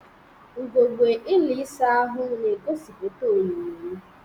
Ugegbe ụlọ ịsa ahụ na-egosipụta onyinyo m.